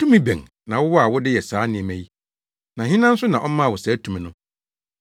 “Tumi bɛn na wowɔ a wode yɛ saa nneɛma yi; na hena nso na ɔmaa wo saa tumi no?”